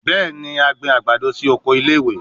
Bẹẹni, a gbin agbado si oko ile-iwe